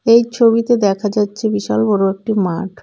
এই ছবিতে দেখা যাচ্ছে বিশাল বড় একটি মাঠ.